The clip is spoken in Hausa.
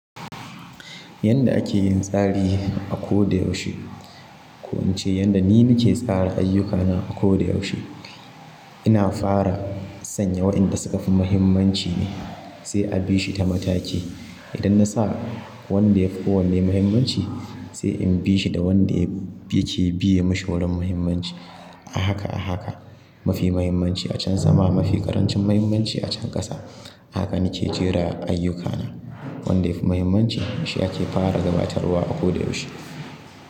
Yanda ake yin tsari a ko da yaushe. Ko in ce yanda ni nake tsara ayyukana a ko da yaushe. Ina fara sanya waɗanda suƙa fi muhimmanci ne, sai a bi shi ta mataki. Idan na sa wanda yafi kowanne muhimmanci, sai in bi shi da wanda yake biye mashi wurin muhimmanci. Ahaka ahaka, mafi muhimmanci a can sama, mafi ƙarancin muhimmanci a can ƙasa. Haka nike jera ayyukana. Wanda yafi muhimmanci shi ake fara gabatarwa a ko da yaushe.